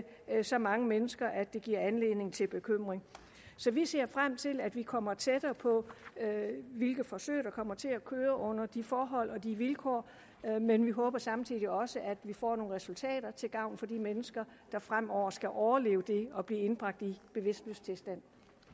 er så mange mennesker at det giver anledning til bekymring så vi ser frem til at vi kommer tættere på hvilke forsøg der kommer til at køre under de forhold og de vilkår men vi håber samtidig også at vi får nogle resultater til gavn for de mennesker der fremover skal overleve det at blive indbragt i bevidstløs tilstand